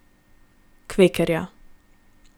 Kvekerja.